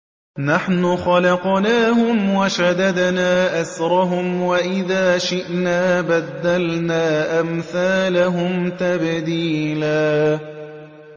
نَّحْنُ خَلَقْنَاهُمْ وَشَدَدْنَا أَسْرَهُمْ ۖ وَإِذَا شِئْنَا بَدَّلْنَا أَمْثَالَهُمْ تَبْدِيلًا